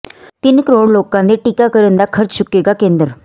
ਤਿੰਨ ਕਰੋੜ ਲੋਕਾਂ ਦੇ ਟੀਕਾਕਰਨ ਦਾ ਖ਼ਰਚ ਚੁੱਕੇਗਾ ਕੇਂਦਰ